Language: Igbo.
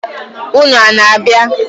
Ụnụ ana-abịa?